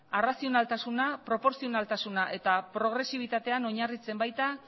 arrazionaltasuna proportzionaltasuna eta progresibitatean oinarritzen baita